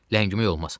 Ləngimək olmaz.